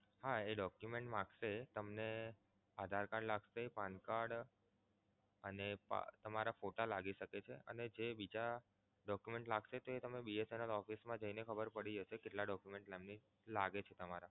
હા એ Document માંગશે તમને Aadhar Card લાગશે PAN Card અને તમારા Photo લાગી શકે છે. અને જે બીજા Document લાગશે તે તમે BSNL office મા જઈને ખબર પડી જશે કેટલા Document લાગે છે તમારા